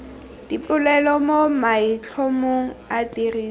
dipolelo mo maitlhomong a tiriso